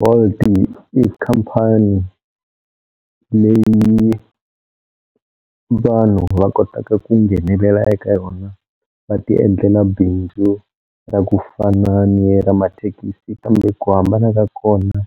Bolt-i i company leyi yi vanhu va kotaka ku nghenelela eka yona va ti endlela bindzu ra ku fana ni ra mathekisi kambe ku hambana ka kona